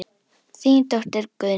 Þín dóttir Guðný.